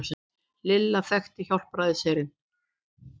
Lilla þekkti Hjálpræðisherinn.